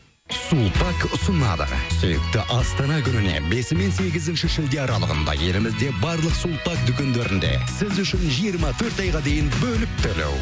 сулпак ұсынады сүйікті астана күніне бесі мен сегізінші шілде аралығында елімізде барлық сулпак дүкендерінде сіз үшін жиырма төрт айға дейін бөліп төлеу